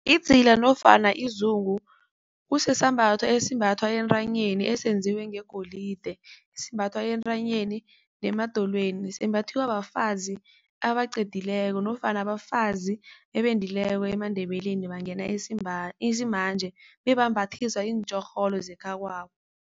Idzila nofana izungu kusisambatho esimbathwa entanyeni esenziwe ngegolide. Esimbathwa entanyeni nemadolweni simbathiwa bafazi abaqedileko nofana abafazi ebendileko emaNdebeleni bangena isimanje bebambathiswa iintjorholo zekhakwabo.